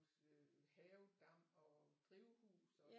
Også øh havedam og drivhus og